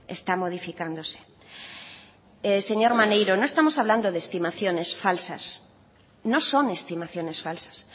está modificándose señor maneiro no estamos hablando de estimaciones falsas no son estimaciones falsas